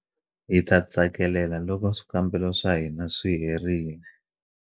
Hi ta tsakelela loko swikambelo swa hina swi herile